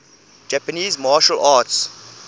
japanese martial arts